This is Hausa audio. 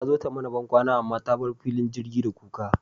Tazo ta mana bankwana amma ta bar filin jirgi da kuka